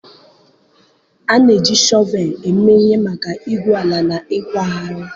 A na-eji shọvel eme ihe maka igwu ala na ịkwagharị.